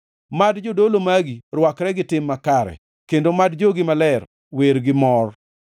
Mad jodolo magi rwakre gi tim makare, kendo mad jogi maler wer gi mor.’ ”